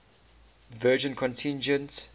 virginia contingent